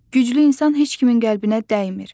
Güclü insan heç kimin qəlbinə dəymir.